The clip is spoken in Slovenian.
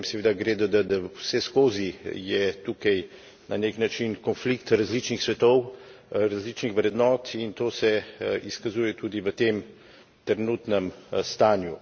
Ob tem, seveda, gre dodati, da vseskozi je tukaj na nek način konflikt različnih svetov, različnih vrednot, in to se izkazuje tudi v tem trenutnem stanju.